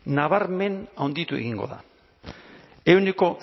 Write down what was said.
nabarmen handitu egingo da ehuneko